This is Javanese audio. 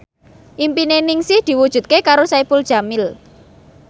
impine Ningsih diwujudke karo Saipul Jamil